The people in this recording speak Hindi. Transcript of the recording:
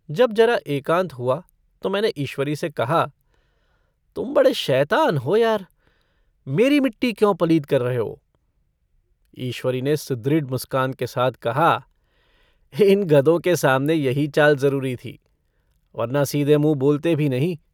जब ज़रा एकान्त हुआ तो मैंने ईश्वरी से कहा - तुम बड़े शैतान हो यार। मेरी मिट्टी क्यों पलीद कर रहे हो? ईश्वरी ने सुदृढ़ मुस्कान के साथ कहा - इन गधों के सामने यही चाल ज़रूरी थी वरना सीधे मुँह बोलते भी नहीं।